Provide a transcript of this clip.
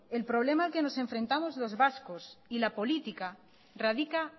el problema al que nos enfrentamos los vascos y la política radica